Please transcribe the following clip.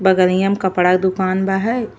बगलिया में कपड़ा क दुकान बा है।